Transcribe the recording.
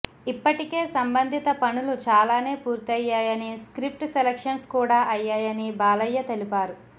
ఇప్పటికే సంబంధిత పనులు చాలానే పూర్తయ్యాయని స్క్రిప్ట్ సెలెక్షన్స్ కూడా అయ్యాయని బాలయ్య తెలిపారు